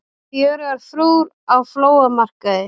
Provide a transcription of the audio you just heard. Fjörugar frúr á flóamarkaði